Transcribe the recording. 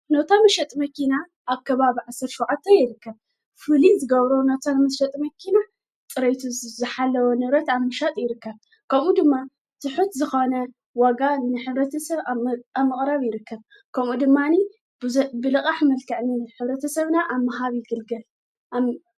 ነታ ምሸጥ መኪና ኣከባብ ዕሠር ሸዉዓተ ይርከ ፍሉል ዝገብሮ ነቶ ምስ ሸጥ መኪና ጥረይቱ ዘሓለወ ንብረት ኣምሻጥ ይርከ ከምኡ ድማ ትሑት ዝኾነ ዋጋ ንኅብረቲ ሰብ ኣምቕራብ ይርከ ከምኡ ድማኒ ብልቓ ሕመልካዕኒን ኅብረተ ሰብና ኣብመሃቢ ይግልገል።